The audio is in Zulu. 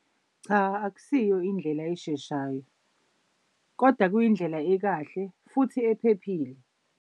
Cha akusiyo indlela esheshayo, koda kuyindlela ekahle futhi ephephile.